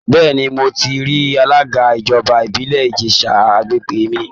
Bẹ́ẹ̀ni, mo ti rí alága ìjọba ìbílẹ̀ Ìjẹ̀ṣà àgbègbè mi